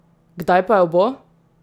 Kdaj pa jo bo?